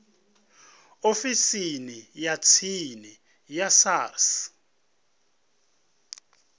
ofisini ya tsini ya sars